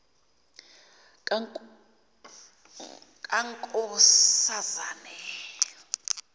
kankoszane